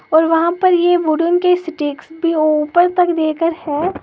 और वहां पर ये वुडेन के स्टिक्स भी वो ऊपर तक देकर है।